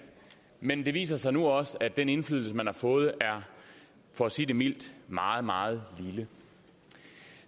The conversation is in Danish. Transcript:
men det viser sig nu også at den indflydelse man har fået er for at sige det mildt meget meget lille